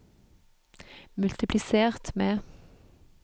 multiplisert med